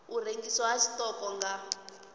u rengiswa ha tshiṱoko nga